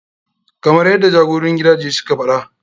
Kamar yaddai jagororin gidaje suka faɗa.